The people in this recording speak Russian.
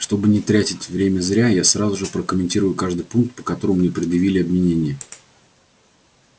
чтобы не тратить время зря я сразу же прокомментирую каждый пункт по которому мне предъявили обвинение